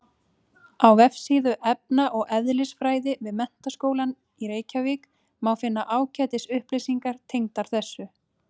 Á vefsíðu efna- og eðlisfræði við Menntaskólann í Reykjavík má finna ágætis upplýsingar tengdar þessu.